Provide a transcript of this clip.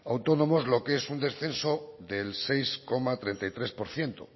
autónomos lo que es un descenso del seis coma treinta y tres por ciento